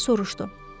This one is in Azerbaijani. Gənc soruşdu.